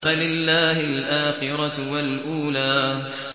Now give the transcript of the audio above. فَلِلَّهِ الْآخِرَةُ وَالْأُولَىٰ